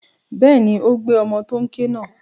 Bẹ́ẹ̀ni, ó gbé ọmọ tó n ké náà.